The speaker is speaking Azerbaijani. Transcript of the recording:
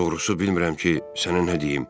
Doğrusu bilmirəm ki, sənə nə deyim.